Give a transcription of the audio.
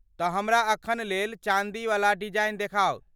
तऽ हमरा अखन लेल चाँदीएवला डिजाइन देखाउ।